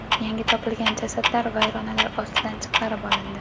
Yangi topilgan jasadlar vayronalar ostidan chiqarib olindi.